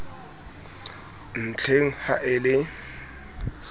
ntlheng le ha e le